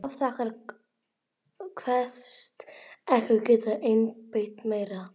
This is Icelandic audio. Hún afþakkar, kveðst ekki geta innbyrt meira.